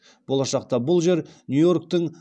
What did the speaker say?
болашақта бұл жер нью йорктің